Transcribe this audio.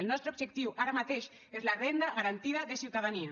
el nostre objectiu ara mateix és la renda garantida de ciutadania